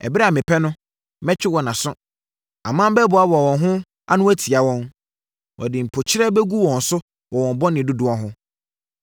Ɛberɛ a mepɛ no, mɛtwe wɔn aso; aman bɛboaboa wɔn ho ano atia wɔn. Wɔde mpokyerɛ bɛgu wɔn wɔ wɔn bɔne dodoɔ ho.